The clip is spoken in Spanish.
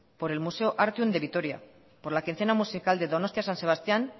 por el museo artium de vitoria por la quincena musical de donostia san sebastián